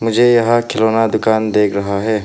मुझे यहां खिलौना दुकान दिख रहा है।